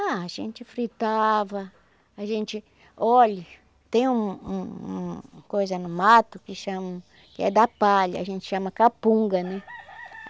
Ah, a gente fritava, a gente... Olha, tem um um uma coisa no mato que chama... que é da palha, a gente chama capunga, né?